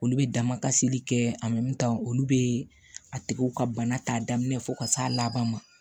Olu bɛ damakasili kɛ olu bɛ a tigiw ka bana ta daminɛ fo ka s'a laban ma